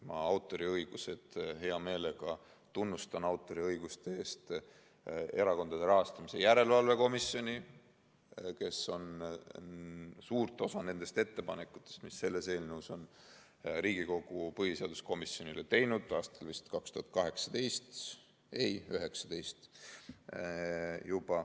Ma hea meelega tunnustan autoriõiguste eest Erakondade Rahastamise Järelevalve Komisjoni, kes suure osa nendest ettepanekutest, mis selles eelnõus on, Riigikogu põhiseaduskomisjonile tegi vist 2018. aastal, ei, 2019.